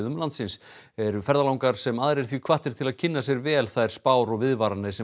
landsins eru ferðalangar sem aðrir því hvattir til að kynna sér vel þær spár og viðvaranir sem